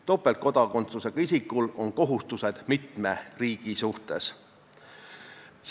Topeltkodakondsusega isikul on kohustused mitme riigi suhtes.